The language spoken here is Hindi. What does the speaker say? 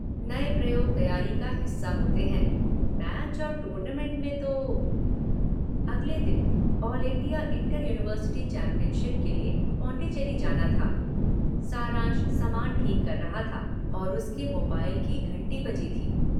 नए प्रयोग तैयारी का हिस्सा होते हैं - मैच और टूर्नामेंट में तो...' अगले दिन 'ऑल इंडिया इंटर-यूनिवर्सिटी चैंपियनशिप' के लिए पांडिचेरी जाना था - सारांश सामान ठीक कर रही थी और उसके मोबाइल की घंटी बजी थी।